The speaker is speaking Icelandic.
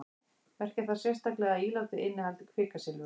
merkja þarf sérstaklega að ílátið innihaldi kvikasilfur